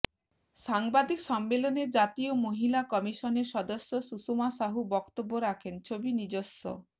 সাংবাদিক সম্মেলনে জাতীয় মহিলা কমিশনের সদস্য সুষমা সাহু বক্তব্য রাখেন ছবি নিজস্ব